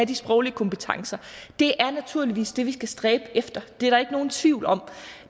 de sproglige kompetencer det er naturligvis det vi skal stræbe efter det er der ikke nogen tvivl om